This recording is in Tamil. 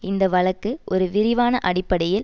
இந்த வழக்கு ஒரு விரிவான அடிப்படையில்